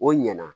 O ɲɛna